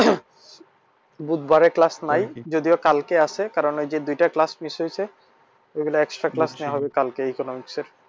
বুধবারে class নাই যদিও কালকে আছে কারণ ওই যে দুইটা class miss হয়েছে ওইগুলা extra class নেওয়া হবে কালকে economics এর